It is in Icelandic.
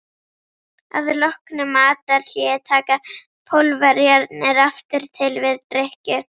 Að loknu matarhléi taka Pólverjarnir aftur til við drykkju.